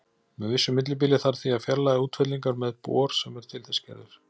Með vissu millibili þarf því að fjarlægja útfellingar með bor sem er til þess gerður.